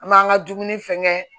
An m'an ka dumuni fɛn kɛ